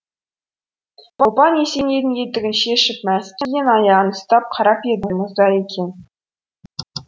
ұлпан есенейдің етігін шешіп мәсі киген аяғын ұстап қарап еді мұздай екен